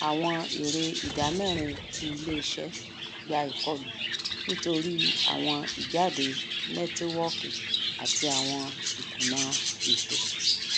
àwọn èrè ìdámẹrin ti iléiṣẹ gba ikọlu nítorí àwọn ìjádé nẹtíwọọkì àti àwọn ikùnà ètò